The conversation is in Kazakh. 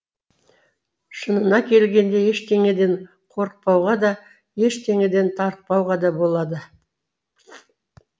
шынына келгенде ештеңеден қорықпауға да ештеңеден тарықпауға да болады